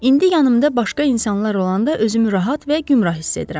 İndi yanımda başqa insanlar olanda özümü rahat və günbəra hiss edirəm.